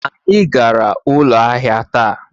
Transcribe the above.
Anyị gara ụlọ ahịa taa